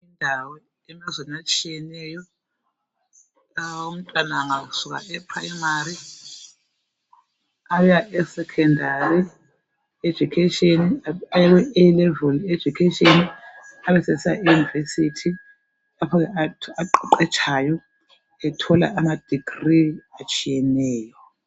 abantwana abafundayo emazweni abanengi bengasuka kupimary baya kusekhondari education basuka baye ku Alevil education abesesiya e university lapha aqheqetshayo ethola ama digri atshiyeneyo